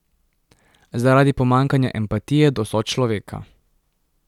Zaradi pomanjkanja empatije do sočloveka.